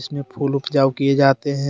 इसमें फुल उपजाऊ किए जाते हैं।